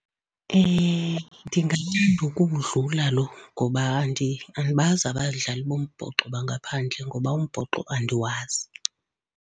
Ndingalinda ukuwudlula lo ngoba andibazi abadlali bombhoxo bangaphandle ngoba umbhoxo andiwazi.